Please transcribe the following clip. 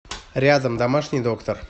рядом домашний доктор